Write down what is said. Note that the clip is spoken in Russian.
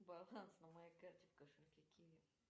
баланс на моей карте в кошельке киви